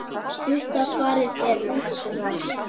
Stutta svarið er útrás.